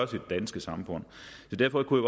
det danske samfund derfor kunne